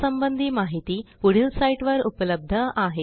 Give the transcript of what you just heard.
यासंबंधी माहिती पुढील साईटवर उपलब्ध आहे